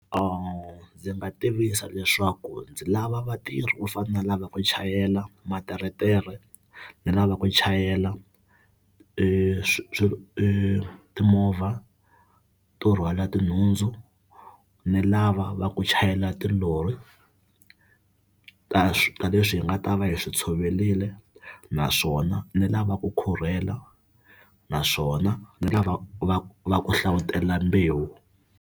Ndzi nga tivisa leswaku ndzi lava vatirhi vo fana na lava ku chayela materetere, ni lava ku chayela e swi swi e timovha to rhwala tinhundzu, ni lava va ku chayela tilori ta swi ta leswi hi nga ta va hi swi tshoverile naswona ni lava ku khurhela naswona ni lava va va ku hlavutela mbewu.